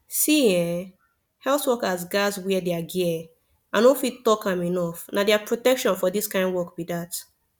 see[um]health workers gats wear their gear i no fit talk am enough na their protection for this kind work be that